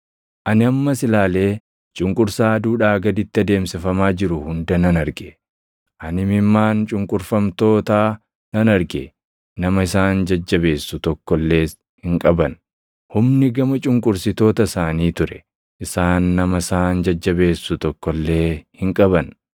Ani ammas ilaalee cunqursaa aduudhaa gaditti adeemsifamaa jiru hunda nan arge: Ani imimmaan cunqurfamtootaa nan arge; nama isaan jajjabeessu tokko illees hin qaban; humni gama cunqursitoota isaanii ture; isaan nama isaan jajjabeessu tokko illee hin qaban.